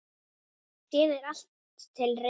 Síðan er allt til reiðu.